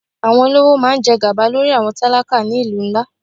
Àwọn olówó máa ń jẹ gàba lórí àwọn tálákà ni ìlú ńlá.